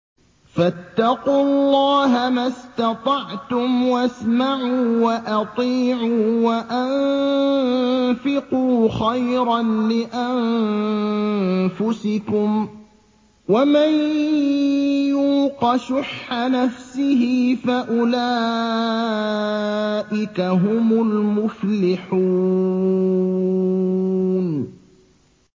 فَاتَّقُوا اللَّهَ مَا اسْتَطَعْتُمْ وَاسْمَعُوا وَأَطِيعُوا وَأَنفِقُوا خَيْرًا لِّأَنفُسِكُمْ ۗ وَمَن يُوقَ شُحَّ نَفْسِهِ فَأُولَٰئِكَ هُمُ الْمُفْلِحُونَ